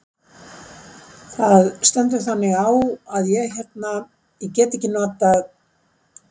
Það stendur þannig á að ég hérna. ég get ekki notað.